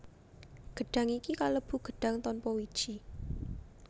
Gedhang iki kalebu gedhang tanpa wiji